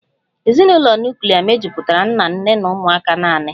Ezinụlọ nuklia mejupụtara nna, nne na ụmụaka naanị